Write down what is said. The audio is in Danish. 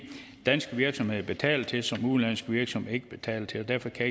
danske virksomheder betaler til som udenlandske virksomheder ikke betaler til og derfor kan